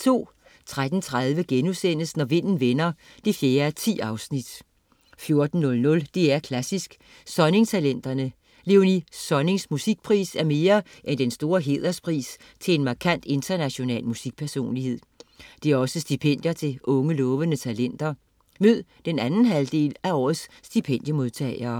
13.30 Når Vinden Vender 4:10* 14.00 DR Klassisk: Sonning-talenterne. Léonie Sonnings Musikpris er mere end den store hæderspris til en markant international musikpersonlighed. Det er også stipendier til unge lovende talenter. Mød den anden halvdel af årets stipendiemodtagere